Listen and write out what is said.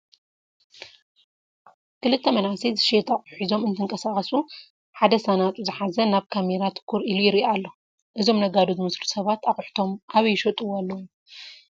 ክልተ መናእሰይ ዝሽየጥ ኣቑሑት ሒዞም እንትንቀሳቐሱ ሓደ ሳናጡ ዝሓዘ ናብ ካሜራ ትኩር ኢሉ ይሪኢ ኣሎ፡፡ እዞም ነጋዶ ዝመስሉ ሰባት ኣቑሑቶም ኣበይ ይሽጥዎ ኣለው?